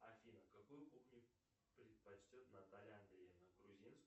афина какую кухню предпочтет наталья андреевна грузинскую